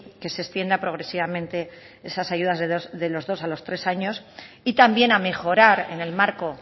que se extienda progresivamente esas ayudas de los dos a los tres años y también a mejorar en el marco